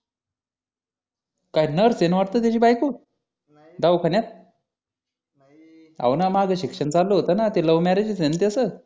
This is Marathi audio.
काय नर्स आहे ना वाटतं त्याची बायको दवाखान्यात हो ना माझं शिक्षण चालू होतं ना ते लव्ह मॅरेज आहे ना त्याचं